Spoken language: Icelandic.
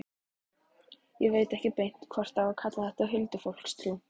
Ég veit ekki beint hvort á að kalla þetta huldufólkstrú.